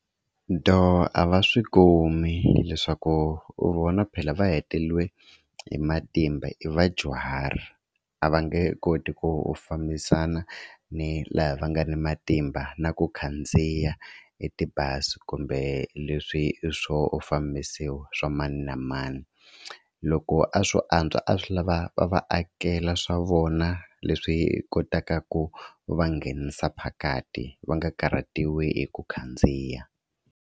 Do, a va swi kumi hileswaku vona phela va hetelele hi matimba i vadyuhari a va nge koti ku u fambisana ni laha va nga ni matimba na ku khandziya etibazi kumbe leswi swo fambisiwa swa mani na mani. Loko a swo antswa a swi lava va va akela swa vona leswi kotaka ku va nghenisa phakati va nga karhatiwi hi ku khandziya.